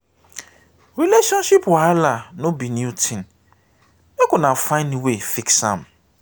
relationship wahala no be new tin make una find way fix am.